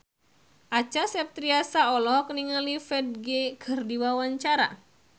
Acha Septriasa olohok ningali Ferdge keur diwawancara